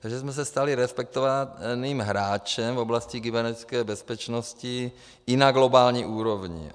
Takže jsme se stali respektovaným hráčem v oblasti kybernetické bezpečnosti i na globální úrovni.